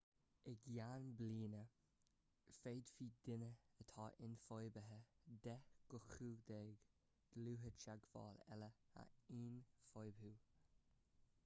i gceann bliana féadfaidh duine atá ionfhabhtaithe 10 go 15 dlúth-theagmháil eile a ionfhabhtú